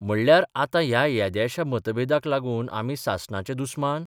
म्हणल्यार आतां ह्या येद्याश्या मतभेदाक लागून आमी सासणाचे दुस्मान?